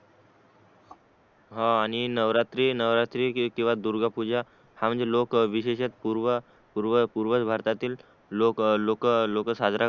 हा आणि नवरात्री किंवा दुर्गा पूजा हा म्हणजे लोक विशेष पूर्व पूर्व भारतातील लोक लोक साजरा कर्तरीत